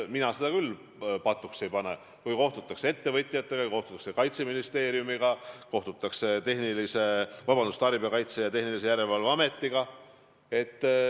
Mina seda küll patuks ei pea, kui kohtutakse ettevõtjatega, kohtutakse Kaitseministeeriumiga, kohtutakse Tarbijakaitse ja Tehnilise Järelevalve Ametiga.